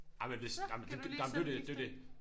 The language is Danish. Jamen hvis jamen jamen det er jo det det er jo det